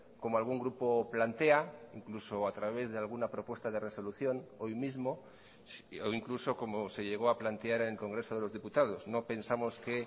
como algún grupo plantea incluso a través de alguna propuesta de resolución hoy mismo o incluso como se llegó a plantear en el congreso de los diputados no pensamos que